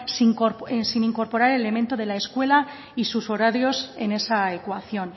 sin incorporar el elemento de la escuela y sus horarios en esa ecuación